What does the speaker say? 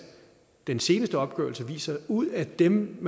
den seneste opgørelse viser at ud af dem